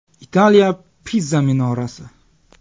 Italiya Piza minorasi.